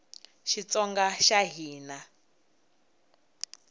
xitsonga xa hina